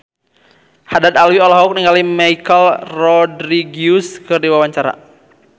Haddad Alwi olohok ningali Michelle Rodriguez keur diwawancara